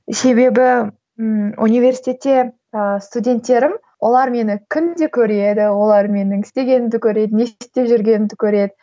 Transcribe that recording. себебі ммм университетте ыыы студенттерім олар мені күнде көреді олар менің істегенімді көреді не істеп жүргенімді көреді